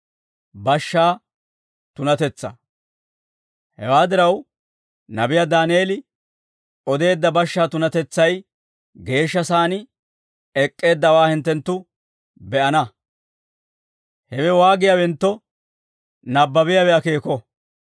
«Hewaa diraw, nabiyaa Daaneel odeedda bashshaa tunatetsay geeshsha saan ek'k'eeddawaa hinttenttu be'ana; hewe waagiyaawentto, nabbabiyaawe akeeko.